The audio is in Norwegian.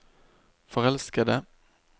forelskede